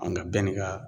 An ka bɛɛ ni ka